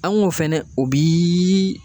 An ko fɛnɛ o bi